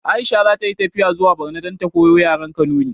Aisha zata yi tafiya zuwa barno dan ta koyo yaren kanuri